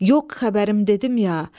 Yox xəbərim dedim ya.